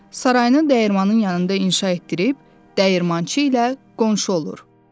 Sarayını dəyirmanin yanında inşa etdirib, dəyirmançı ilə qonşu olur.